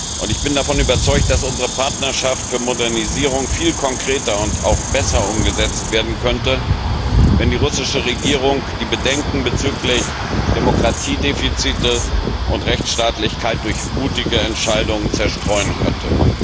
Und ich bin davon überzeugt, dass unsere Partnerschaft für Modernisierung viel konkreter und auch besser umgesetzt werden könnte, wenn die russische Regierung die Bedenken bezüglich Demokratiedefiziten und Rechtsstaatlichkeit durch mutige Entscheidungen zerstreuen könnte.